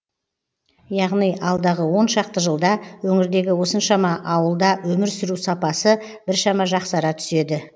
яғни алдағы оншақты жылда өңірдегі осыншама ауылда өмір сүру сапасы біршама жақсара түседі